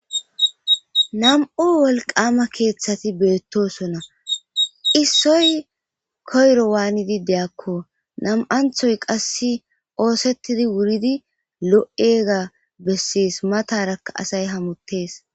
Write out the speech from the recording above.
nam7u wolqama keeththati beettosona issoy koyro waanidi deyakko nam7anthoy qass oosettidi wuridi lo7ega bessis matarakka asay hamuttees